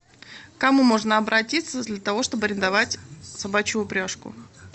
кому можно обратиться для того чтобы арендовать собачью упряжку